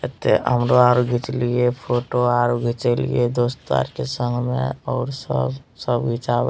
एथे हमरो आउर घींच लिए फोटो आउर घींच लिए दोस्त यार के संग में और सब सब घिंचाओ --